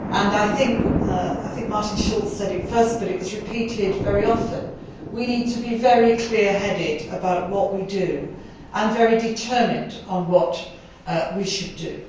I think Mr Schulz said it first, but it was repeated very often we need to be very clear headed about what we do and very determined on what we should do.